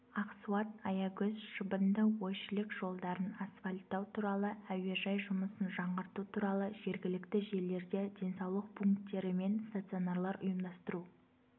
ақсуат-аягөз шыбынды-ойшілік жолдарын асфальттау туралы әуежай жұмысын жаңғырту туралы жергілікті жерлерде денсаулық пункттері мен стационарлар ұйымдастыру